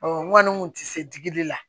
n kɔni kun tɛ se digili la